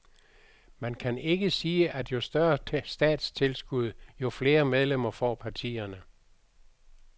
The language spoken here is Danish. Man kan ikke sige, at jo større statstilskud, jo flere medlemmer får partierne.